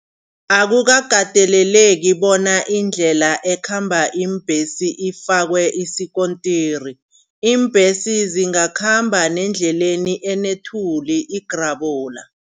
Akukakateleleki bona indlela ekhamba iimbhesi ifakwe isikontiri. Iimbhesi zingakhamba nendleleni enethuli igrabula.